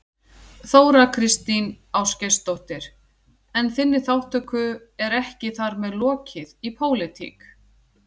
Þóra Kristín Ásgeirsdóttir: En þinni þátttöku er ekki þar með lokið í pólitík?